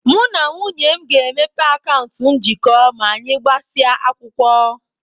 Mụ na nwunye m ga-emepe akaụntụ njikọ ma anyị gbasịa akwụkwọ.